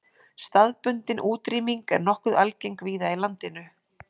Staðbundin útrýming er nokkuð algeng víða í landinu.